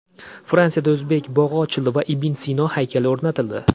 Fransiyada o‘zbek bog‘i ochildi va ibn Sino haykali o‘rnatildi.